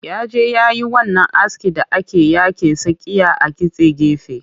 Ya je yayi wannan askin da ake yake tsakiya a kitse gefe